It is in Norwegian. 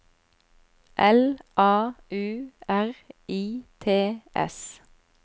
L A U R I T S